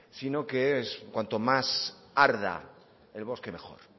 sino que cuanto más arda el bosque mejor